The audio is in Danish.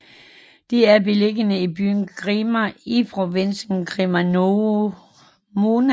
De er beliggende i byen Crema i provinsen Cremona